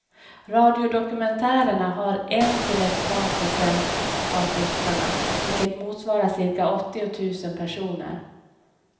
Radiodokumentärerna har en till ett par procent av lyssnarna, vilket motsvarar cirka åttiotusen personer.